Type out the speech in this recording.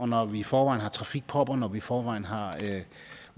når vi i forvejen har trafikpropper og når vi i forvejen har